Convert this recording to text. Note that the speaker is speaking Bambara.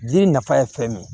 Jiri nafa ye fɛn min ye